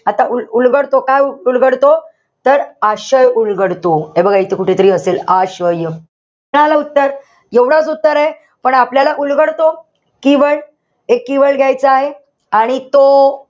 आता उल उलगडतो. काय उलगडतो? तर आशय उलगडतो. हे बघा इथं कुठे तरी असेल आशय. झालं उत्तर. एवढंच उत्तरे. पण आपल्याला उलगडतो, keyword हे keyword घ्यायचं आहे. आणि तो,